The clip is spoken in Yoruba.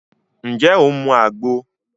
Ǹjẹ́ o máa mu àgbo?